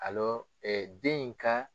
e den in ka